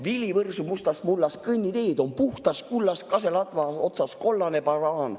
Vili võrsub mustast mullast, kõnniteed on puhtast kullast, kaseladva otsas kollane banaan.